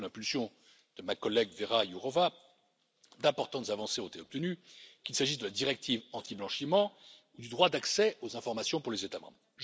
Sous l'impulsion de ma collègue, Véra Jourová, d'importantes avancées ont été obtenues, qu'il s'agisse de la directive antiblanchiment ou du droit d'accès aux informations pour les États membres.